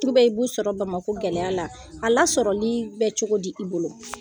Tru be min sɔrɔ Bamako gɛlɛya la, a lasɔrɔlii bɛ cogo di i bolo?